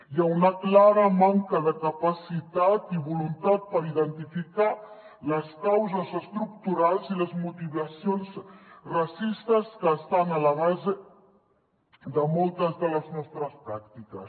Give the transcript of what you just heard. hi ha una clara manca de capacitat i voluntat per identificar les causes estructurals i les motivacions racistes que estan a la base de moltes de les nostres pràctiques